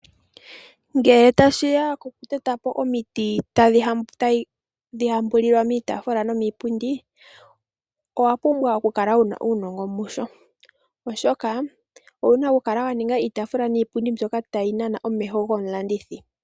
Ngele tashi ya pokuteta po omiti tadhi hambulilwa miitaafula nomiipundi, owa pumbwa okukala wu na uunongo musho, oshoka owu na okukala wa ninga iitaafula niipundi mbyoka tayi nana omeho gomulandi.